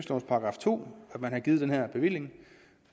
§ to at man har givet den her bevilling